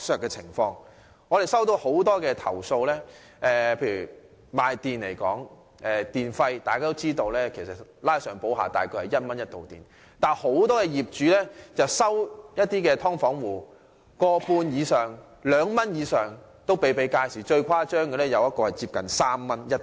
我接獲不少投訴，就以電而言，大家也知道，每度電約為1元，但很多業主卻收取"劏房"戶每度電 1.5 或2元以上，最誇張的個案是每度電的收費接近3元。